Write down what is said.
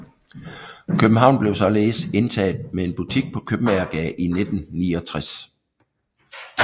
København blev således indtaget med en butik på Købmagergade i 1969